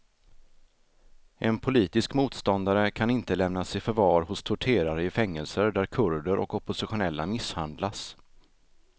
En politisk motståndare kan inte lämnas i förvar hos torterare i fängelser där kurder och oppositionella misshandlas.